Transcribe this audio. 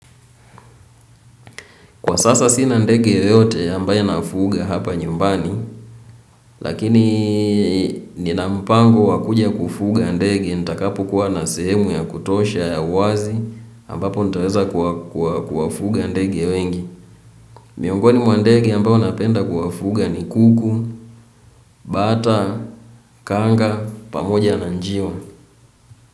Kwa sasa sina ndege yeyote ambaye nafuga hapa nyumbani. Lakini nina mpango wa kuja kufuga ndege. Nitakapokuwa na sehemu ya kutosha ya wazi ambapo nitaweza kuwafuga ndege wengi. Miongoni mwa ndegi ambao napenda kuwafuga ni kuku bata, kanga, pamoja na njiwa.